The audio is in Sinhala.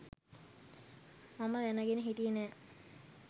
මම දැනගෙන හිටියේ නෑ.